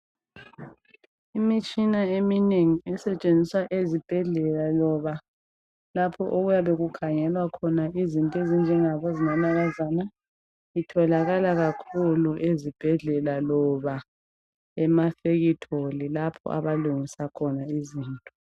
Imitshina eminengi esetshenziswa ezibhedlela loba lapho okuyabe kukhangelwa khona izinto ezinjengabo zinanakazana, itholakala kakhulu ezibhedlela loba emafekitholi lapho abalungisa khona izinto.